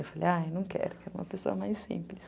Eu falei, ai, não quero, quero uma pessoa mais simples.